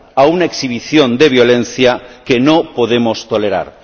a una exhibición de violencia que no podemos tolerar.